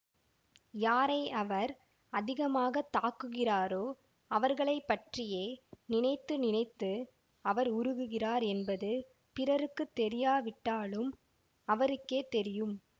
யாரை அவர் அதிகமாக தாக்குகிறாரோ அவர்களை பற்றியே நினைத்து நினைத்து அவர் உருகுகிறார் என்பது பிறருக்கு தெரியாவிட்டாலும் அவருக்கே தெரியும்